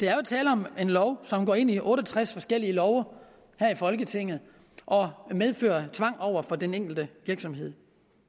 er jo tale om en lov som går ind i otte og tres forskellige love her i folketinget og medfører tvang over for den enkelte virksomhed